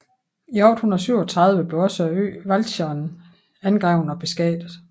I 837 blev også øen Walcheren angrebet og beskattet